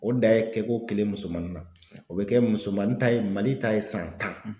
O dan ye kɛko kelen musomani na o be kɛ musomanin ta ye Mali ta ye san tan.